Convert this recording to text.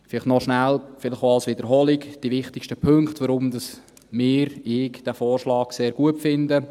Vielleicht als Wiederholung noch kurz die wichtigsten Punkte, weshalb wir, weshalb ich diesen Vorschlag sehr gut finde.